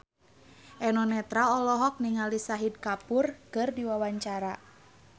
Eno Netral olohok ningali Shahid Kapoor keur diwawancara